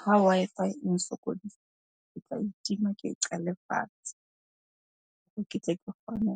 Ha Wi-Fi e nsokodisa ke tla e tima, ke qale fatshe. Ke tle ke kgone